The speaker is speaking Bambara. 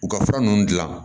U ka fura ninnu dilan